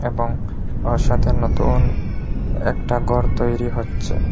এবং ওর সাথে নতুন একটা গর তৈরি হচ্ছে।